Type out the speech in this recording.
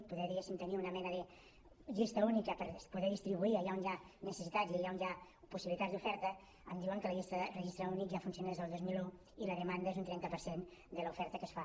poder diguéssim tenir una mena de llista única per poder distribuir allà on hi ha necessitats i allà on hi ha possibilitats d’oferta em diuen que la llista de registre únic ja funciona des del dos mil un i la demanda és d’un trenta per cent de l’oferta que es fa